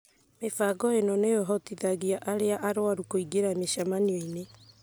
Mĩbango ĩno nĩ ĩhotithagia arĩa arũaru kũingĩra mĩcemanio-inĩ